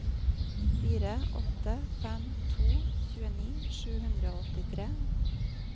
fire åtte fem to tjueni sju hundre og åttitre